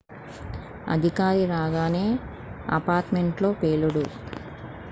అధికారి రాగానే apartment లో పేలుడు